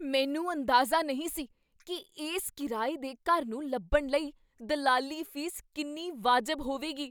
ਮੈਨੂੰ ਅੰਦਾਜ਼ਾ ਨਹੀਂ ਸੀ ਕੀ ਇਸ ਕਿਰਾਏ ਦੇ ਘਰ ਨੂੰ ਲੱਭਣ ਲਈ ਦਲਾਲੀ ਫੀਸ ਕਿੰਨੀ ਵਾਜਬ ਹੋਵੇਗੀ!